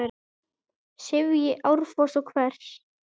sifji árfoss og hvers!